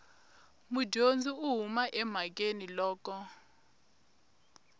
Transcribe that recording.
mudyondzi u huma emhakeni loko